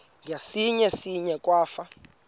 ngasinga singa akwafu